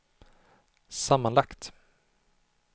sammanlagt